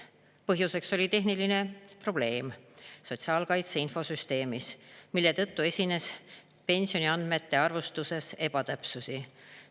Põhjuseks oli tehniline probleem sotsiaalkaitse infosüsteemis, mille tõttu esines pensioniandmete arvestuses ebatäpsusi.